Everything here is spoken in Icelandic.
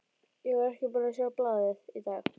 Ég var ekki búinn að sjá blaðið í dag.